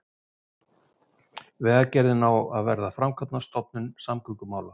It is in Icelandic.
Vegagerðin á að verða framkvæmdastofnun samgöngumála